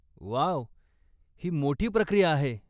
Wow, ही मोठी प्रक्रिया आहे.